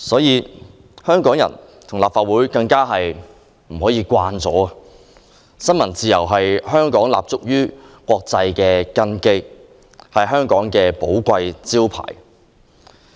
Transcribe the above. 然而，香港人和立法會絕不可因而變得麻木，因為新聞自由是香港立足國際的根基，是香港的寶貴招牌。